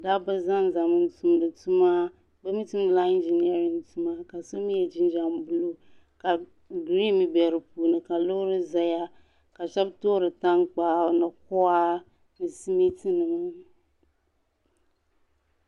Dabba zanzami n tumdi tuma bɛ mi tumdi la ingineerin tuma ka so mi ye jinjam buluu ka gireen be di puuni ka loori zaya ka shɛbi toori tankpaɣu ni kɔɣa ni simiiti.